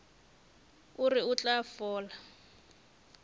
o re o tla fola